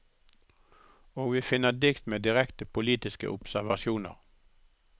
Og vi finner dikt med direkte politiske observasjoner.